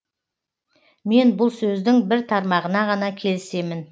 мен бұл сөздің бір тармағына ғана келісемін